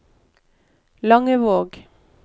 Langevåg